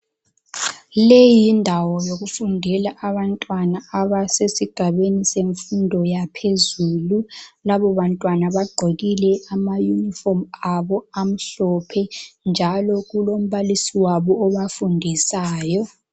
leyi yindawo yokufundela yabantwana abasesigabeni semfundo yaphezulu laba bantwana bagqokile ama unifomu abo amhlophe njalo kulombalisi yabo obafundisayo.